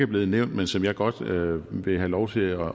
blevet nævnt men som jeg godt vil vil have lov til at